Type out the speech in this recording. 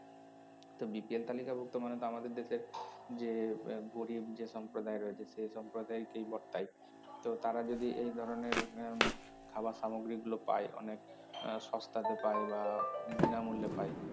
তো BPL তালিকাভুক্ত মানে তো আমাদের দেশে যে এর গরীব যে সম্প্রদায় রয়েছে সে সম্প্রদায়কেই বর্তায় তো তারা যদি এই ধরনের আহ খাবার সামগ্রীগুলো পায় অনেক আহ সস্তাতে পায় বা বিণামূল্যে পায়